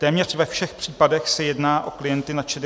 Téměř ve všech případech se jedná o klienty nad 65 let.